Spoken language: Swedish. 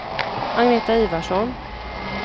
Agneta Ivarsson